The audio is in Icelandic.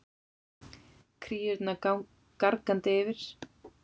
Kríurnar gargandi yfir.